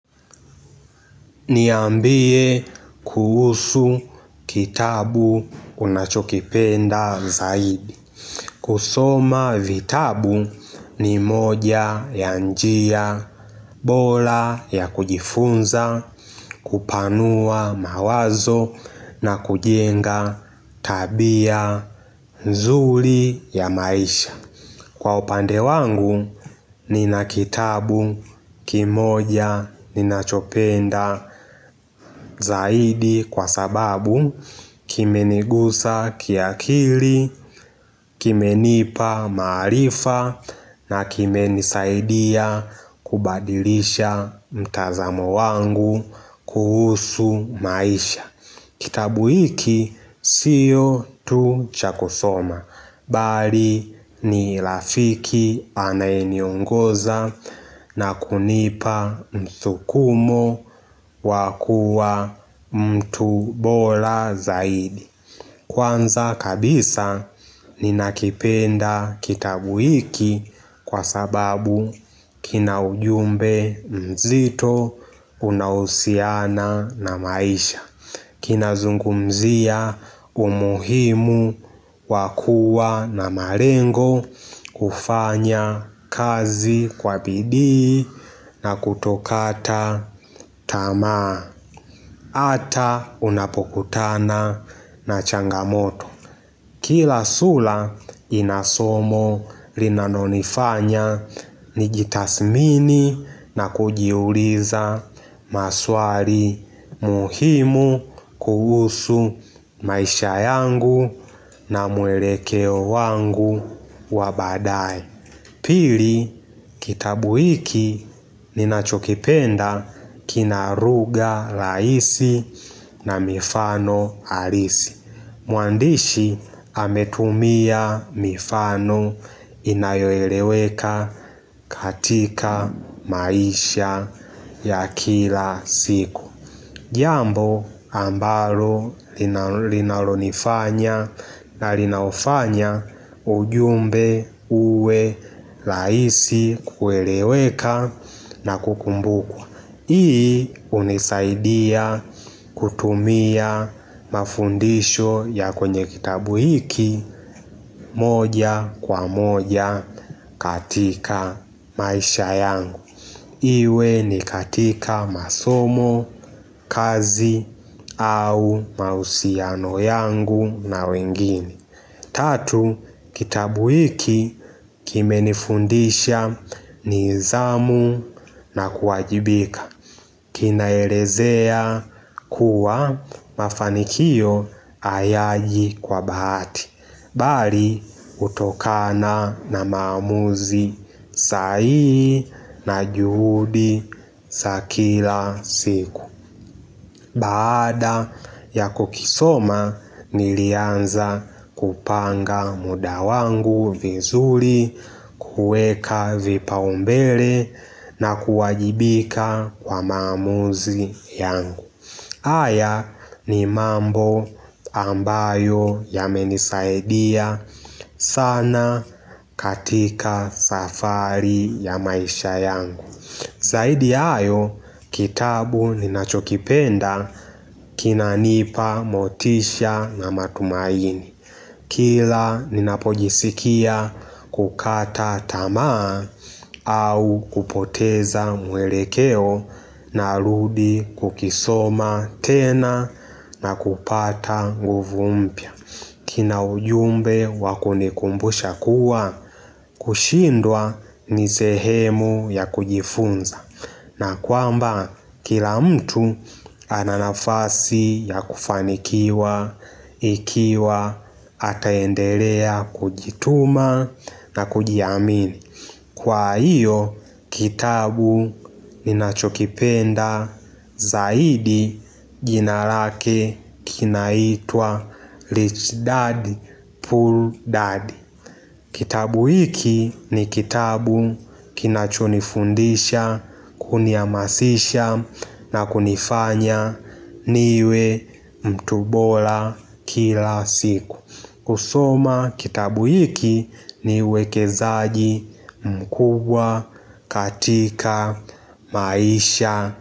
Niambie kuhusu kitabu unachokipenda zaidi kusoma vitabu ni moja ya njia bola ya kujifunza kupanua mawazo na kujenga tabia nzuli ya maisha Kwa upande wangu, nina kitabu kimoja ninachopenda zaidi kwa sababu kimenigusa kiakili, kimenipa maarifa na kimenisaidia kubadilisha mtazamo wangu kuhusu maisha. Kitabu hiki siyo tu chakosoma, bali ni lafiki anayeniongoza na kunipa mthukumo wa kua mtu bola zaidi. Kwanza kabisa ninakipenda kitabu hiki kwa sababu kina ujumbe mzito, unaohusiana na maisha. Kinazungumzia umuhimu wa kua na malengo kufanya kazi kwa bidii na kutokata tamaa Ata unapokutana na changamoto Kila sula ina somo linanonifanya ni jitasmini na kujiuliza maswali muhimu kuhusu maisha yangu na muelekeo wangu wa baadaye. Pili kitabu hiki ninachokipenda kina ruga laisi na mifano halisi. Mwandishi ametumia mifano inayoeleweka katika maisha ya kila siku. Jambo ambalo linalonifanya na linaufanya ujumbe uwe laisi kueleweka na kukumbukwa Hii hunisaidia kutumia mafundisho ya kwenye kitabu hiki moja kwa moja katika maisha yangu Iwe ni katika masomo, kazi au mausiano yangu na wengini Tatu, kitabu hiki kimenifundisha nizamu na kuajibika Kinaelezea kuwa mafanikio hayaji kwa bahati Bari hutokana na maamuzi sahihi na juhudi sa kila siku Baada ya kukisoma nilianza kupanga muda wangu vizuri kueka vipau mbele na kuwajibika kwa maamuzi yangu haya ni mambo ambayo yamenisaidia sana katika safari ya maisha yangu Zaidi yayo kitabu ninachokipenda kinanipa motisha na matumaini Kila ninapojisikia kukata tamaa au kupoteza mwelekeo naludi kukisoma tena na kupata guvu mpya. Kina ujumbe wa kunikumbusha kuwa kushindwa ni sehemu ya kujifunza. Na kwamba kila mtu ana nafasi ya kufanikiwa, ikiwa, ataendelea, kujituma na kujiamini. Kwa hiyo, kitabu ninachokipenda zaidi jina rake kinaitwa Rich Dad, Poor Dad. Kitabu hiki ni kitabu kinachonifundisha, kuniamasisha na kunifanya niwe mtu bola kila siku. Kusoma kitabu hiki ni uwekezaji mkubwa, katika maisha.